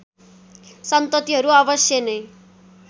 सन्ततिहरू अवश्य नै